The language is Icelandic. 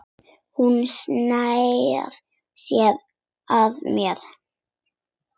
Hún sneri sér að mér.